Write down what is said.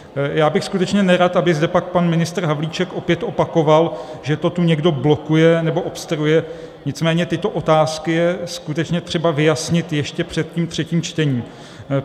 Já bych skutečně nerad, aby zde pak pan ministr Havlíček opět opakoval, že to tu někdo blokuje nebo obstruuje, nicméně tyto otázky je skutečně třeba vyjasnit ještě před tím třetím čtením.